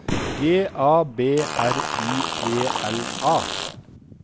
G A B R I E L A